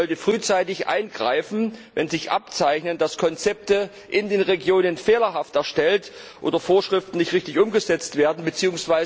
Sie sollte frühzeitig eingreifen, wenn sich abzeichnet, dass Konzepte in den Regionen fehlerhaft erstellt oder Vorschriften nicht richtig umgesetzt werden, bzw.